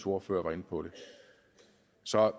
ordfører var inde på det så